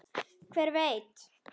Hver veit